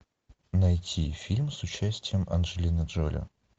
найти фильм с участием анджелины джоли